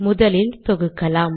முதலில் தொகுக்கலாம்